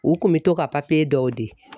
U kun bɛ to ka dɔw di.